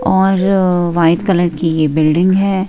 और white colour की building है।